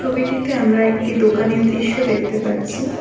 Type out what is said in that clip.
ছবিটিতে আমরা একটি দোকানের দৃশ্য দেখতে পাচ্ছি।